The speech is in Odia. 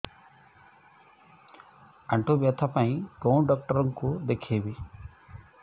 ଆଣ୍ଠୁ ବ୍ୟଥା ପାଇଁ କୋଉ ଡକ୍ଟର ଙ୍କୁ ଦେଖେଇବି